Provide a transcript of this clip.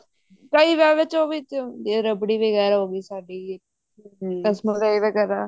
ਕਈ ਵਿਆਵਾਂ ਚ ਉਹ ਹੁੰਦੀ ਹੈ ਰਬ੍ੜੀ ਉਹ ਵੀ ਸਾਡੀ ਹੈ ਰਸ ਮਲਾਈ ਵਗੇਰਾ